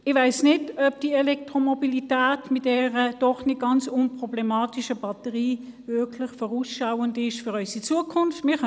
Ich weiss nicht, ob die Elektromobilität mit dieser doch nicht ganz unproblematischen Batterie wirklich vorausschauend für unsere Zukunft ist.